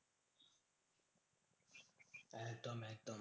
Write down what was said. একদম একদম